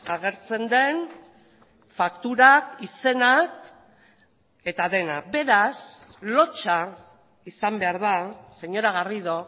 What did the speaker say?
agertzen den fakturak izenak eta dena beraz lotsa izan behar da señora garrido